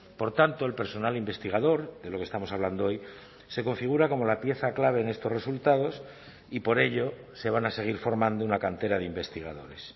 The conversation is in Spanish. por tanto el personal investigador de lo que estamos hablando hoy se configura como la pieza clave en estos resultados y por ello se van a seguir formando una cantera de investigadores